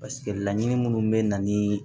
Paseke laɲini minnu bɛ na ni